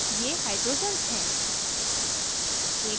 ये hydrogens हैं